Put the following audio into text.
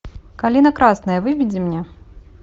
калина красная выведи мне